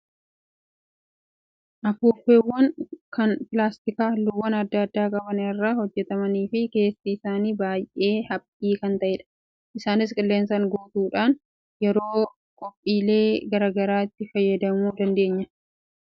Afuuffeewwan kan pilaastika halluuwwan adda addaa qaban irraa hojjatamanii fi keessi isaanii baay'ee haphii kan ta'edha. Isaanis qilleensaan guutuudhaan yeroo qophiilee garaagaraa itti fayyadamuu dandeenya. Afuuffeen naannoo keetti yeroo qophiilee akkamii fayyadamama?